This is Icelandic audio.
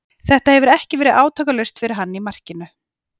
Þetta hefur ekki verið átakalaust fyrir hann í markinu.